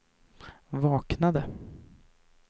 vaknade